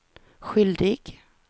skyldig